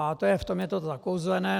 A v tom je to zakouzlené.